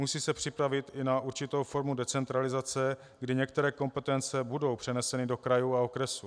Musí se připravit i na určitou formu decentralizace, kdy některé kompetence budou přeneseny do krajů a okresů.